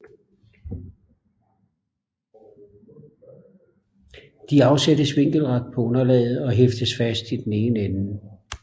De afsættes vinkelret på underlaget og hæftet fast i den ene ende